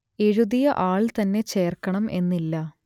എഴുതിയ ആൾ തന്നെ ചേർക്കണം എന്നില്ല